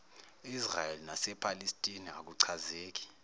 israel nasephalestina akuchazeki